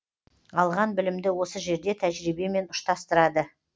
алған білімді осы жерде тәжірибемен ұштастырады